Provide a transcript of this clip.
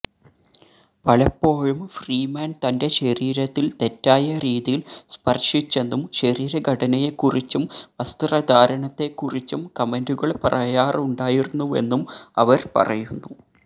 പലപ്പൊഴും ഫ്രീമാന് തന്റെ ശരീരത്തില് തെറ്റായ രീതിയില് സ്പര്ശിച്ചെന്നും ശരീരഘടനയെക്കുറിച്ചും വസ്ത്രധാരണത്തെക്കുറിച്ചും കമന്റുകള് പറയാറുണ്ടായിരുന്നുവെന്നും അവര് പറയുന്നു